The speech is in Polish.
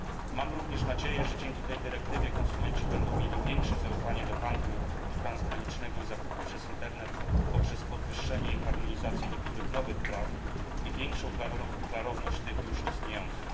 Mam również nadzieję, że dzięki tej dyrektywie konsumenci będą mieli większe zaufanie do handlu transgranicznego i zakupów przez Internet poprzez podwyższenie i harmonizację niektórych nowych praw i większą klarowność tych już istniejących.